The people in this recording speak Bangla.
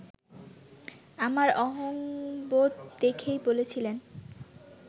আমার অহংবোধ দেখেই বলেছিলেন